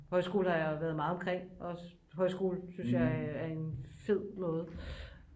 højskoler har jeg været meget omkring også højskole synes jeg er en fed måde